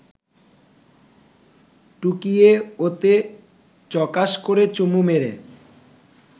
টুকিয়ে ওতে চকাশ করে চুমু মেরে